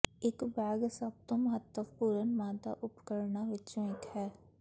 ਇੱਕ ਬੈਗ ਸਭ ਤੋਂ ਮਹੱਤਵਪੂਰਨ ਮਾਦਾ ਉਪਕਰਣਾਂ ਵਿੱਚੋਂ ਇੱਕ ਹੈ